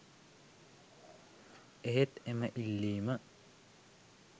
එහෙත් එම ඉල්ලීම